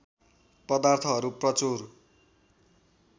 पदार्थहरू प्रचुर